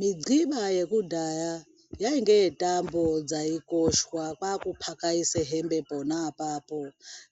Midhliba yekudhaya yainge yetambo dzaikoshwa kwakuphakaise hembe pona apapo